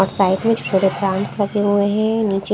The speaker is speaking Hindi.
और साइड में छोटे प्लांट्स लगे हुए हैं।